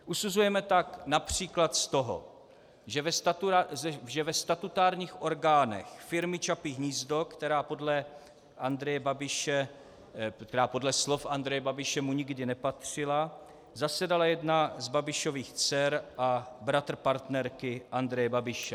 Usuzujeme tak například z toho, že ve statutárních orgánech firmy Čapí hnízdo, která podle slov Andreje Babiše mu nikdy nepatřila, zasedala jedna z Babišových dcer a bratr partnerky Andreje Babiše.